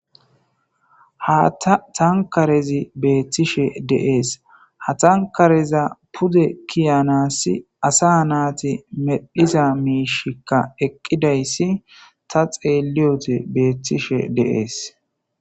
Haatta tankkarazi beettishe de7ees. Ha tankkareza pude kiyanassi asaa naati medhiza miishikka eqqidayssi ta xeelliyode beettishe de7ees.